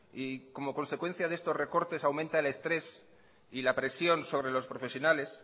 y como consecuencia de estos recortes aumenta el estrés y la presión sobre los profesionales